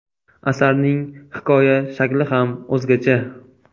Asarning hikoya shakli ham o‘zgacha.